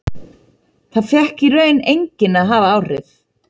Það fékk í raun enginn að hafa áhrif.